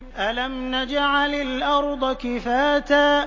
أَلَمْ نَجْعَلِ الْأَرْضَ كِفَاتًا